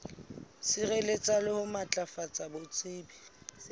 sireletsa le ho matlafatsa botsebi